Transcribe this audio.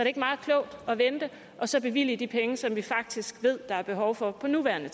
ikke meget klogt at vente og så bevilge de penge som vi faktisk ved der er behov for på nuværende